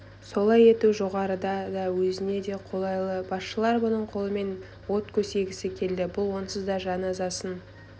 солай ету жоғарыға да өзіне де қолай еді басшылар бұның қолымен от көсегісі келді бұл онсыз да жаназасын